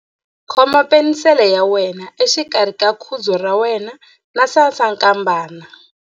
Khoma penisele ya wena exikarhi ka khudzu ra wena na sasankambana.